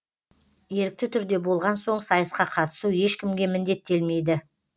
ерікті түрде болған соң сайысқа қатысу ешкімге міндеттелмейді